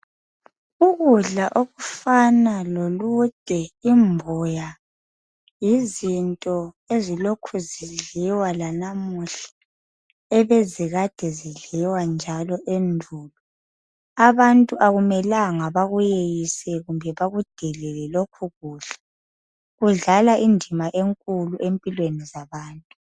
Ukudla okufana lolude ,imbuya yizinto ezilokhe zidliwa lanamuhla ebezikade zidliwa enjalo endulo abantu akumelanga bakuyeyise kumbe bakudelele lokhu kudla kudlala indima enkuku empilweni zabantu.